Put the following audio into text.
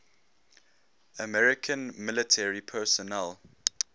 american military personnel